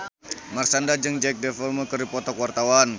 Marshanda jeung Jack Davenport keur dipoto ku wartawan